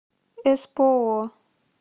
эспоо